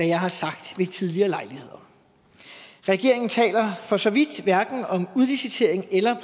jeg har sagt ved tidligere lejligheder regeringen taler for så vidt hverken om udlicitering eller